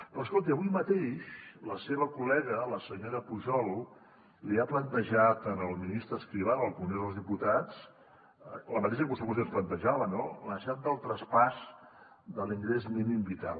però escolti avui mateix la seva col·lega la senyora pujol li ha plantejat al ministre escrivá en el congrés dels diputats la mateixa qüestió que vostè ens plantejava no la necessitat del traspàs de l’ingrés mínim vital